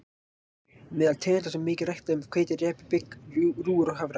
Meðal tegunda sem eru mikið ræktaðar eru hveiti, repja, bygg, rúgur og hafrar.